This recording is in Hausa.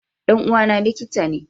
Dan uwa na likitane